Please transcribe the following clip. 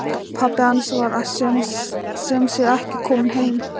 Pabbi hans var sem sé ekki kominn heim.